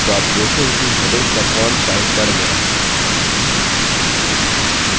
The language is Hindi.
तो आप देखेंगे कि headings का font size बढ़ गया है